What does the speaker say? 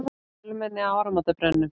Fjölmenni á áramótabrennum